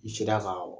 I sera ka